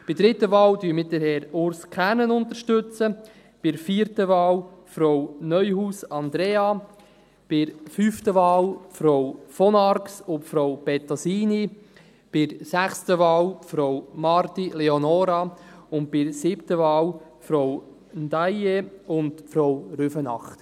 Bei der dritten Wahl unterstützen wir Herrn Urs Kernen, bei der vierten Wahl Frau Neuhaus Andrea, bei der fünften Wahl Frau von Arx und Frau Bettosini, bei der sechsten Wahl Frau Marti Leonora, und bei der siebten Wahl Frau Ndiaye und Frau Rüfenacht.